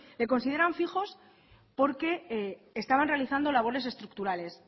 le consideran fijos porque estaban realizando labores estructurales